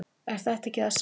er þetta ekki það sama